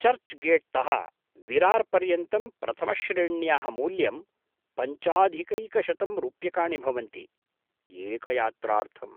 Church गेट्तः विरार् पर्यन्तं प्रथमश्रेण्याः मूल्यं पञ्चाधिकैकशतं रूप्यकाणि भवन्ति, एकयात्रार्थम्।